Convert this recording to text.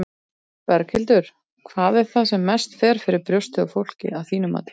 Berghildur: Hvað er það sem mest fer fyrir brjóstið á fólki, að þínu mati?